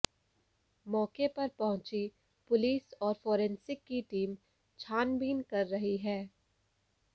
मौके पर पहुंची पुलिस और फोरेंसिक की टीम छानबीन कर रही है